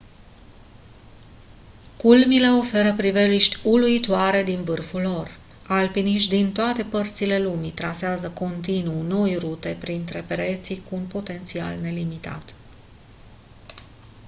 culmile oferă priveliști uluitoare din vârful lor alpiniști din toate părțile lumii trasează continuu noi rute printre pereții cu un potențial nelimitat